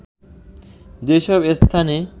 যেসব স্থানে